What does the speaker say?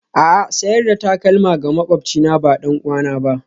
A'a, sayar da takalma ga maƙwabcina ba ɗan'uwana ba.